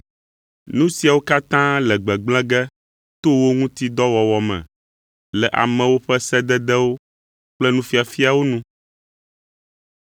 Nu siawo katã le gbegblẽ ge to wo ŋuti dɔ wɔwɔ me le amewo ƒe sededewo kple nufiafiawo nu.